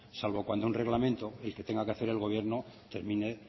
salvo cuando un reglamento el que tenga que hacer el gobierno termine